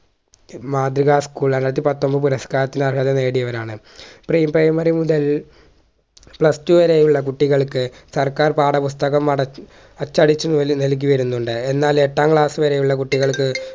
school രണ്ടായിരത്തി പത്തൊമ്പത് പുരസ്‌ക്കാരത്തിന് അർഹത നേടിയവരാണ് pre primary മുതൽ plus two വരെയുള്ള കുട്ടികൾക്ക് സർക്കാർ പാഠപുസ്തകം അട അച്ചടിച്ചുമുതൽ നൽകിവരുന്നുണ്ട് എന്നാൽ എട്ടാം class വരെയുള്ള കുട്ടികൾക്ക്